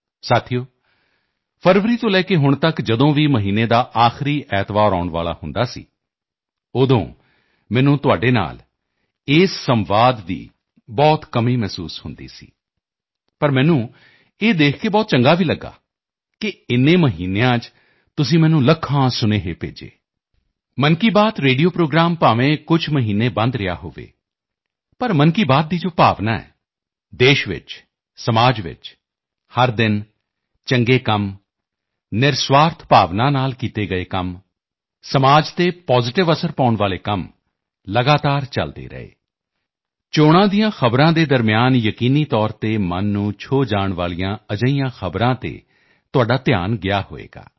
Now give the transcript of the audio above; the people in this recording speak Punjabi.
ਸਾਥੀਓ ਫਰਵਰੀ ਤੋਂ ਲੈ ਕੇ ਹੁਣ ਤੱਕ ਜਦੋਂ ਵੀ ਮਹੀਨੇ ਦਾ ਆਖਰੀ ਐਤਵਾਰ ਆਉਣ ਵਾਲਾ ਹੁੰਦਾ ਸੀ ਉਦੋਂ ਮੈਨੂੰ ਤੁਹਾਡੇ ਨਾਲ ਇਸ ਸੰਵਾਦ ਦੀ ਬਹੁਤ ਕਮੀ ਮਹਿਸੂਸ ਹੁੰਦੀ ਸੀ ਪਰ ਮੈਨੂੰ ਇਹ ਦੇਖ ਕੇ ਬਹੁਤ ਚੰਗਾ ਵੀ ਲਗਿਆ ਕਿ ਇਨ੍ਹਾਂ ਮਹੀਨਿਆਂ 'ਚ ਤੁਸੀਂ ਮੈਨੂੰ ਲੱਖਾਂ ਸੁਨੇਹੇ ਭੇਜੇ 'ਮਨ ਕੀ ਬਾਤ' ਰੇਡੀਓ ਪ੍ਰੋਗਰਾਮ ਭਾਵੇਂ ਕੁਝ ਮਹੀਨੇ ਬੰਦ ਰਿਹਾ ਹੋਵੇ ਪਰ 'ਮਨ ਕੀ ਬਾਤ' ਦੀ ਜੋ ਭਾਵਨਾ ਹੈ ਦੇਸ਼ 'ਚ ਸਮਾਜ 'ਚ ਹਰ ਦਿਨ ਚੰਗੇ ਕੰਮ ਨਿਰਸੁਆਰਥ ਭਾਵਨਾ ਨਾਲ ਕੀਤੇ ਗਏ ਕੰਮ ਸਮਾਜ 'ਤੇ Positive ਅਸਰ ਪਾਉਣ ਵਾਲੇ ਕੰਮ ਲਗਾਤਾਰ ਚਲਦੇ ਰਹੇ ਚੋਣਾਂ ਦੀਆਂ ਖ਼ਬਰਾਂ ਦੇ ਦਰਮਿਆਨ ਯਕੀਨੀ ਤੌਰ 'ਤੇ ਮਨ ਨੂੰ ਛੋਹ ਜਾਣ ਵਾਲੀਆਂ ਅਜਿਹੀਆਂ ਖ਼ਬਰਾਂ 'ਤੇ ਤੁਹਾਡਾ ਧਿਆਨ ਗਿਆ ਹੋਵੇਗਾ